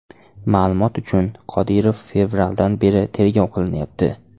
Ma’lumot uchun, Qodirov fevraldan beri tergov qilinyapti.